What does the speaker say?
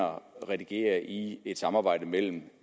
redigere i samarbejdet mellem